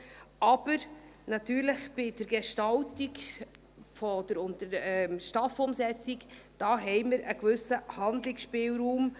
Aber bei der Gestaltung der STAF-Umsetzung haben wir natürlich einen gewissen Handlungsspielraum.